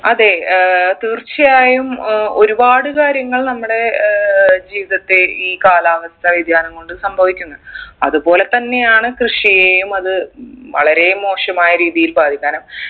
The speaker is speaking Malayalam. അതെ ഏർ തീർച്ചയായും ഉം ഒരുപാട് കാര്യങ്ങൾ നമ്മുടെ ഏർ ജീവിതത്തെ ഈ കാലാവസ്ഥാ വ്യതിയാനം കൊണ്ട് സംഭവിക്കുന്ന് അതുപോലെ തന്നെയാണ് കൃഷിയെയും അത് വളരെ മോശമായ രീതിയിൽ ബാധിക്കാനും